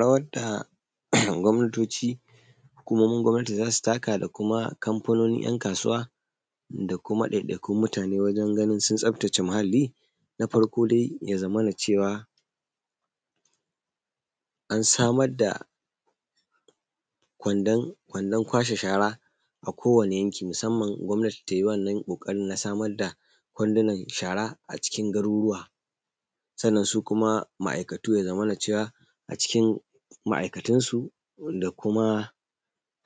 Rawar da [um]gwamnatoci, hukumomin gwamnati zasu taka da kuma kamfanoni yan kasuwa, da kuma dai dai kun mutane wajen ganin sun tsaftace muhalli, ko dai yazamana cewa ansamar da kwandon, kwandon kwashe shara a kowani yanki, musamman gwamnati tayi wannan kokarin na samar da kwandunan shara a cikin garuruwa. Sannan su kuma ma’aikatu yaza mana cewa a cikin ma aikatun su. wanda Kuma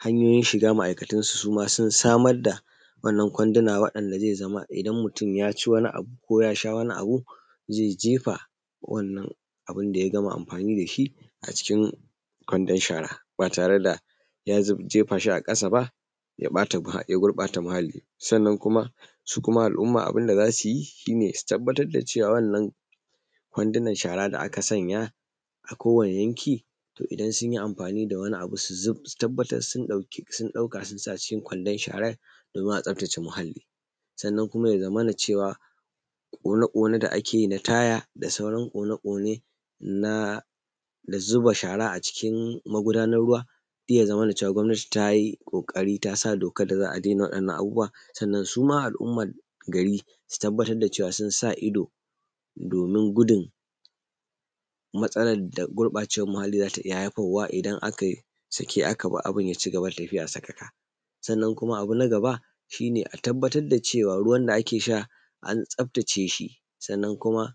hanyoyin shiga ma’aikatun suma su samar da wannan kwanduna wanda zai zama idan mutun yaci wani abu ko yasha wani abu zai jefa wannan abun daya gama amfani dashi a cikin kwandon shara, ba tare da ya jefashi a kasa ba ya ɓata, ya gurɓata muhalli, sannan su kuma al’umma abunda zasuyi shine su tabbatar da cewa wannan kwandunan shara da aka sanya a kowani yanki to idan sunyi amfani da wani abu su tabbatar sun dauka sun sa a cikin kwandon sharan domin a tsafta ce muhalli. Sannan kuma yaza mana cewa ƙone ƙone da akeyi na taya da sauran ƙone ƙone na, da zuba shara a cikin magudanar ruwa, iyazamana cewa gwamnati tayi kokari tasa dokar da za’a daina wadannan abubuwa, sannan suma al’umman gari su tabbatar da cewa sun sa ido, domin gudun matsalar da gurɓacewar muhalli zata iyya haifarwa idan aka sake aka bar abun ya cigaba da tafiya sakaka. Sannan kuma abuna gaba shine a tabbatar da cewa ruwan da akesha an tsafta ce shi, sannan kuma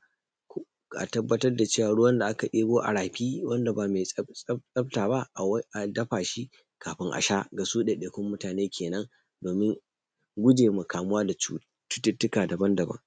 a tabbatar da cewan ruwan da aka debo a rafi, wanda ba mai tsafta ba an dafa shi kafin asha gasu dai dai kun mutane kenan domin gujema kamuwa da cutu:ttuka daban daban.